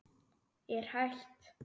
Ég er hætt.